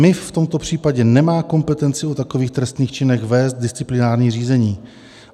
MIV v tomto případě nemá kompetenci o takových trestných činech vést disciplinární řízení.